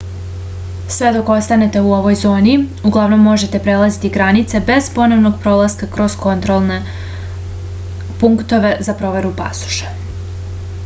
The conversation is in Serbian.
sve dok ostanete u ovoj zoni uglavnom možete prelaziti granice bez ponovnog prolaska kroz kontrolne punktove za proveru pasoša